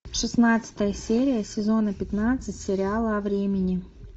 шестнадцатая серия сезона пятнадцать сериала о времени